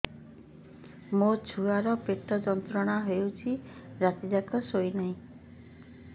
ମୋ ଛୁଆର ପେଟ ଯନ୍ତ୍ରଣା ହେଉଛି ରାତି ଯାକ ଶୋଇନାହିଁ